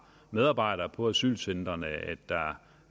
medarbejdere på asylcentrene